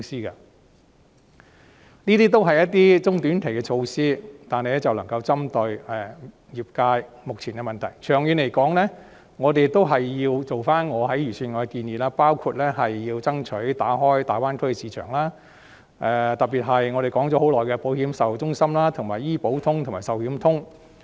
上述均是中短期措施，但能夠針對業界目前的問題，長遠而言，政府仍然需要考慮我就預算案提出的建議，包括爭取打開大灣區市場，特別是我們說了很久的保險售後中心、醫保通和壽險通。